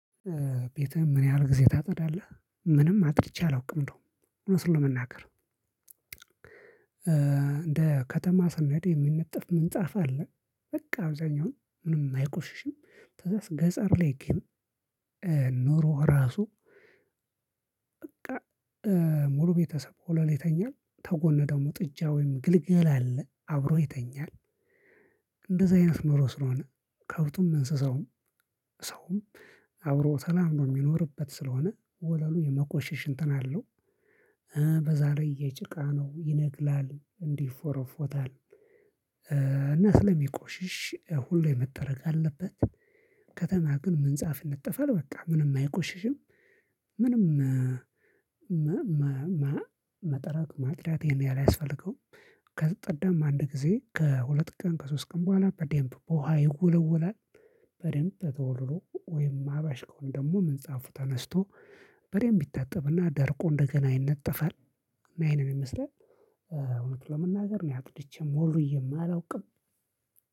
ቤትህን ምን ያህል ጊዜ ታጸዳለህ? ምንም አጸድቼ አላውቅም። እንደው እውነቱን ለመናገር። እንደ ከተማ ሰነድ የምንጠፍ ምንጻፍ አለ በቃ አብዛኛውን ምንም አይቆሽሽም። ከዛ ገጠር ላይ ግን ኑሮ እራሱ በቃ ሙሉ ቤተሰብ ወለል ላይ ይተኛል፣ ተጎን ደግሞ ጥጃ ወይም ግልገል አለ አብሮ ይተኛል፣ እንደዚህ አይነት ኖሮ ስለሆነ ከብቱም፣ እንስሳውም፣ ሰውም አብሮ ተላምዶ የሚኖርበት ስለሆነ ወለሉ የመቆሸሽ እንትን አለው። በዛ ላይ የጭቃ ነው ይነቅላል፣ እንዲህ ፎሮፎታል እና ስለሚቆሽሽ ሁሌ መጠረግ አለበት። ከተማ ግን ምንጻፍ ይነጠፋል በቃ ምንም አይቆሽሽም፣ ምንም መጠረግ፣ ማጥሪያት ይሄን ያህል አያስፈልገውም። ከተጸዳማ አንድ ጊዜ ከሁለት ቀን ከሶስት ቀን በኋላ በደምብ በውሃ ይወለወላል በደምብ ተወልሎ ወይም አበሻ ከሆነ ደግሞ ምንጻፍ ተነስቶ በደምብ ይታጠብና ደርቆ እንደገና ይነጠፋል። እና እሄ ነው የምመስለው። ነገር እኔ አጽድቼም ወልዊዬም አለውቅም።